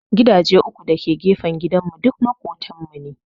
Gidaje uku da ke gefen gidan mu duk maƙotan mu ne